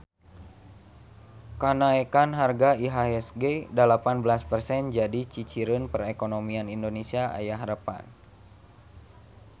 Kanaekan harga IHSG dalapan belas persen jadi ciciren perekonomian Indonesia aya harepan